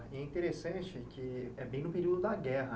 E é interessante que é bem no período da guerra.